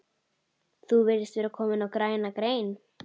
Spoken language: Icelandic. Þú virðist vera kominn á græna grein